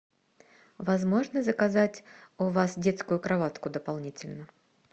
возможно заказать у вас детскую кроватку дополнительно